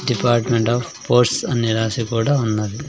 Department of posts అని రాసి కూడా ఉన్నది.